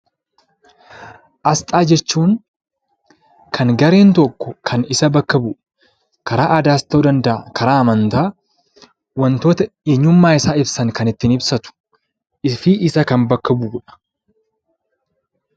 Asxaa jechuun kan gareen tokko isa bakka bu'u, karaa aadaas ta'uu danda'a, amantaa waantota eenyummaa isaa ibsan fi isa bakka bu'udha.